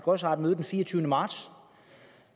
også har et møde den fireogtyvende marts